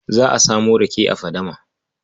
Za a samo rake a fadama.